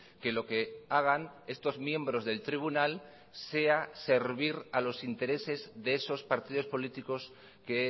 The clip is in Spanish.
que lo que hagan estos miembros del tribunal sea servir a los intereses de esos partidos políticos que